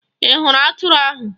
Ị hụrụ atụrụ ahụ?